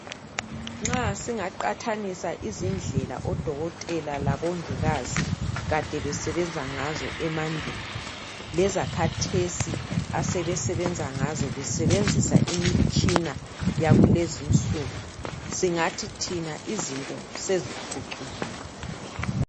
Nxa singaqathanisa izindlela odokotela labongikazi kade besenzangazo emandulo lezakhathesi asebesebenza ngazo besebenzisa imitshina yakulezinsuku singathi thina izinto seziphucukile